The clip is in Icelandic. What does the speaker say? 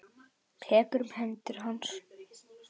Tekur um hendur hans.